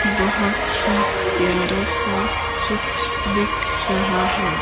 बहुत ही प्यारा सा चित्र दिख रहा है।